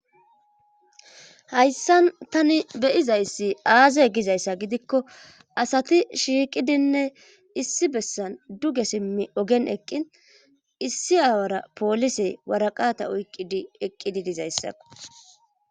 hayssan tani beyizayssi aazay gizayssa gidikko asati shiiqidinne issi bessan duge simmi ogen eqqin issi aawara poolisey waraqata uyqqidi eqqidi dizayssako